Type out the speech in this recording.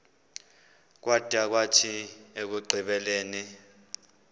kwada kwathi ekugqibeleni